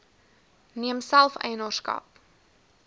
neem self eienaarskap